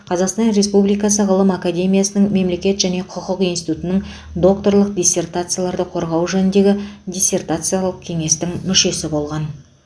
қазақстан республикасы ғылым академиясының мемлекет және құқық институтының докторлық диссертацияларды қорғау жөніндегі диссертациялық кеңестің мүшесі болған